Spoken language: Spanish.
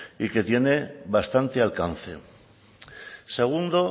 y que tiene bastante alcance segundo